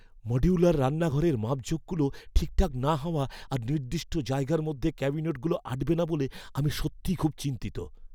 Modular রান্নাঘরের মাপজোখগুলো ঠিকঠাক না হওয়া আর নির্দিষ্ট জায়গার মধ্যে ক্যাবিনেটগুলো আঁটবে না বলে আমি সত্যিই খুব চিন্তিত।